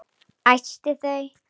Æsti þau.